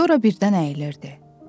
Sonra birdən əyilirdi.